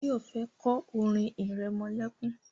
Báyọ̀ fẹ́ kọ́ orin irẹmọlẹ́kún